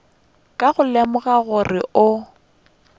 ka go lemoga gore o